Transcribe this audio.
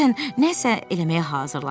Məsələn, nəsə eləməyə hazırlaşırsan.